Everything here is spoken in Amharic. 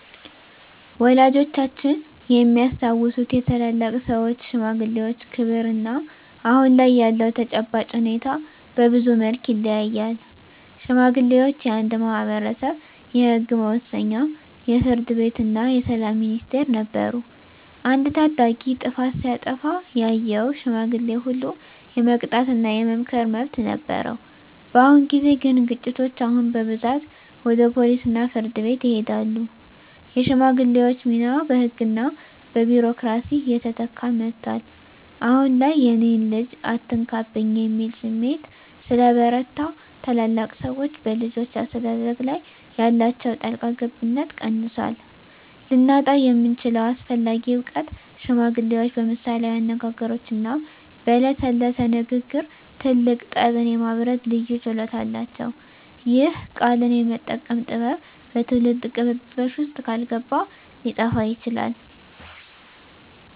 ወላጆቻችን የሚያስታውሱት የታላላቅ ሰዎች (ሽማግሌዎች) ክብርና አሁን ላይ ያለው ተጨባጭ ሁኔታ በብዙ መልኩ ይለያያል። ሽማግሌዎች የአንድ ማኅበረሰብ የሕግ መወሰኛ፣ የፍርድ ቤትና የሰላም ሚኒስቴር ነበሩ። አንድ ታዳጊ ጥፋት ሲያጠፋ ያየው ሽማግሌ ሁሉ የመቅጣትና የመምከር መብት ነበረው። በአሁን ጊዜ ግን ግጭቶች አሁን በብዛት ወደ ፖሊስና ፍርድ ቤት ይሄዳሉ። የሽማግሌዎች ሚና በሕግና በቢሮክራሲ እየተተካ መጥቷል። አሁን ላይ "የእኔን ልጅ አትነካብኝ" የሚል ስሜት ስለበረታ፣ ታላላቅ ሰዎች በልጆች አስተዳደግ ላይ ያላቸው ጣልቃ ገብነት ቀንሷል። ልናጣው የምንችለው አስፈላጊ እውቀት ሽማግሌዎች በምሳሌያዊ አነጋገሮችና በለሰለሰ ንግግር ትልቅ ጠብን የማብረድ ልዩ ችሎታ አላቸው። ይህ "ቃልን የመጠቀም ጥበብ" በትውልድ ቅብብሎሽ ውስጥ ካልገባ ሊጠፋ ይችላል።